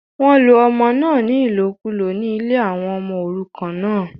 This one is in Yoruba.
wọ́n lo ọmọ náà ní ìlòkùlò ní ilé àwọn ọmọ òrukàn náà